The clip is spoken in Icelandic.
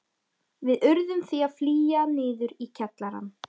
Við urðum því að flýja niður í kjallarann.